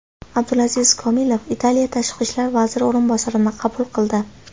Abdulaziz Komilov Italiya tashqi ishlar vaziri o‘rinbosarini qabul qildi.